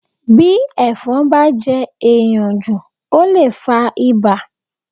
Bí ẹ̀fọn bá jẹ́ èèyàn jù ó lè fa ibà